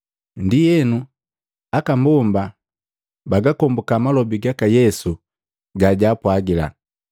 Ndienu aka mbomba bagakombuka malobi gaka Yesu gajwaapwagila,